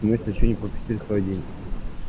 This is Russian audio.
если что не пропустил свой день